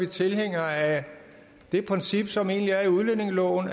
tilhængere af det princip som egentlig er i udlændingeloven